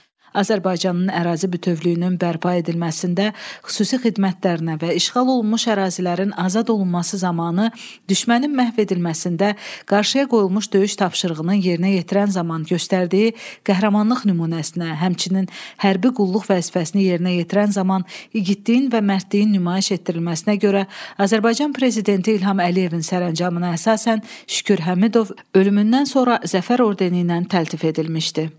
Azərbaycanın ərazi bütövlüyünün bərpa edilməsində xüsusi xidmətlərinə və işğal olunmuş ərazilərin azad olunması zamanı düşmənin məhv edilməsində qarşıya qoyulmuş döyüş tapşırığının yerinə yetirən zaman göstərdiyi qəhrəmanlıq nümunəsinə, həmçinin hərbi qulluq vəzifəsini yerinə yetirən zaman igidliyin və mərdliyin nümayiş etdirilməsinə görə Azərbaycan prezidenti İlham Əliyevin sərəncamına əsasən Şükür Həmidov ölümündən sonra Zəfər ordeni ilə təltif edilmişdi.